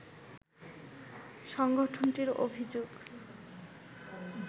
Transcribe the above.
সংগঠনটির অভিযোগ